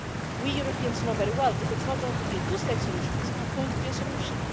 We Europeans know very well that if it's not going to be a two state solution, it's not going to be a solution.